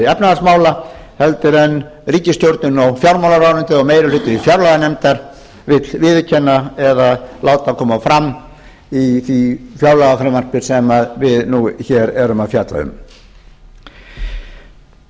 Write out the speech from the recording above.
efnahagsmála heldur en ríkisstjórnin og fjármálaráðuneytið og meirihluti fjárlaganefndar vill viðurkenna eða láta koma fram í fjárlagafrumvarpi sem við nú hér erum að fjalla um frú